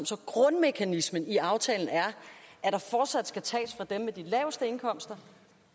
så grundmekanismen i aftalen er at der fortsat skal tages fra dem med de laveste indkomster